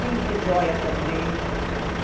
Vendia joia também.